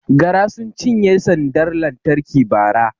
Gara sun cinye sandar lantarki Bara